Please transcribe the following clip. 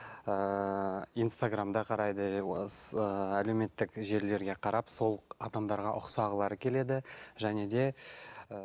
ыыы инстаграмда қарайды ы әлеуметтік желілерге қарап сол адамдарға ұқсағылары келеді және де ы